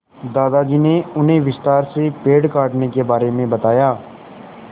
दादाजी ने उन्हें विस्तार से पेड़ काटने के बारे में बताया